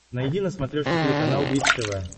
найди на смотрешке телеканал бридж тв